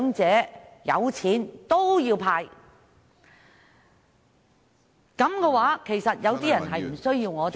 這樣的話，其實有些人是無需我們幫助的......